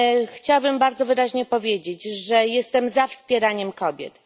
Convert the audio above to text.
Chciałabym bardzo wyraźnie powiedzieć, że jestem za wspieraniem kobiet.